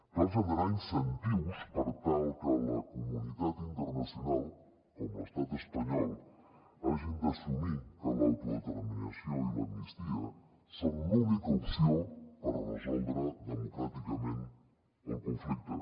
cal generar incentius per tal que la comunitat internacional com l’estat espanyol hagin d’assumir que l’autodeterminació i l’amnistia són l’única opció per resoldre democràticament el conflicte